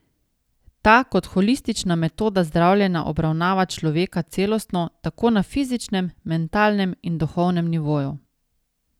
Ta kot holistična metoda zdravljenja obravnava človeka celostno tako na fizičnem, mentalnem in duhovnem nivoju.